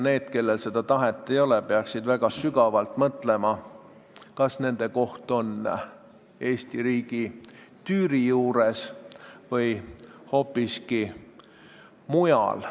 Need, kellel seda tahet ei ole, peaksid väga sügavalt mõtlema, kas nende koht on Eesti riigi tüüri juures või hoopiski mujal.